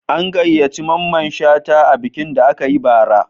An gayyaci Mamman Shata a bikin da aka yi bara